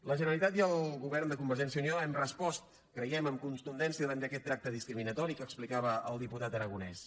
la generalitat i el govern de convergència i unió hem respost creiem amb contundència davant d’aquest tracte discriminatori que explicava el diputat aragonès